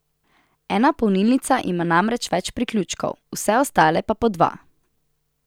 Ena polnilnica ima namreč več priključkov, vse ostale pa po dva.